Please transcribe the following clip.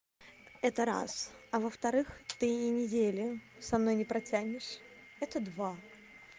это раз а во-вторых ты и недели со мной не протянешь это два